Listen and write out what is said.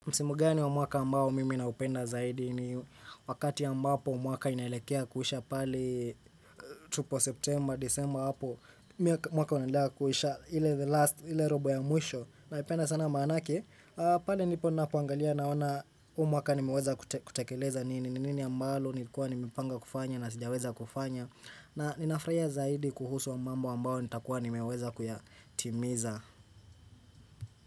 Msimu gani wa mwaka ambao mimi na upenda zaidi ni wakati ambapo mwaka inaelekea kuisha pale tupo September, December hapo mwaka unaelekea kuisha ile the last, ile robo ya mwisho na ipenda sana maanake Pali nipo napoangalia naona umwaka nimeweza kutekeleza nini nini ambalo nikuwa nimepanga kufanya na sijaweza kufanya na ninafurahia zaidi kuhusu mambo ambao nitakuwa nimeweza kuyatimiza.